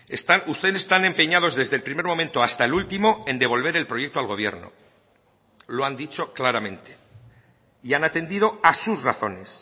están ustedes tan empeñados desde el primer momento hasta el último en devolver el proyecto al gobierno lo han dicho claramente y han atendido a sus razones